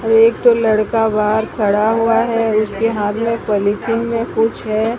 और एक तो लड़का बाहर खड़ा हुआ है उसके हाथ में एक पॉलिथीन में कुछ है।